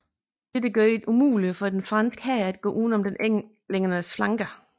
Dette gjorde det umuligt for den franske hær at gå uden om englændernes flanker